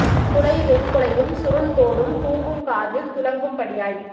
துளை வெண் குழையும் சுருள் தோடும் தூங்கும் காதில் துளங்கும் படியாய்